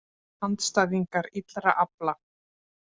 Andstæðingar illra afla